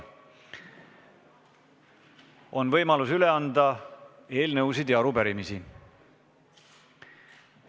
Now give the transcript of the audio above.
On võimalus üle anda eelnõusid ja arupärimisi.